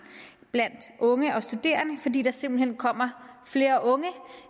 blandt unge og studerende fordi der simpelt hen kommer flere unge